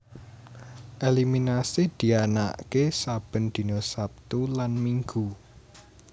Eliminasi dianaaké saben dina Sabtu lan Minggu